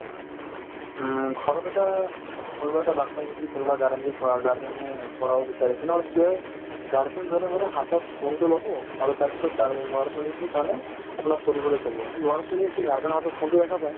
উম, ঘৰত এতিয়া কোনোবা এটা batches ই যদি কোনোবা guardian ৰ পৰা guardian য়ে পঢ়াব বিচাৰে তেনেহ'লে কি হয় guardian জনে মানে হাতত phone তো ল'ব আৰু তাৰপিছত guar ল'ৰা-ছোৱালীতোক মানে আপোনাৰ পঢ়িবলৈ ক'ব কি ল'ৰা-ছোৱালিয়ে কি guardian ৰ হাতত phone তো দেখা পাই